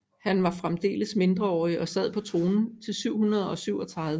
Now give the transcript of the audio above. Han var fremdeles mindreårig og sad på tronen til 737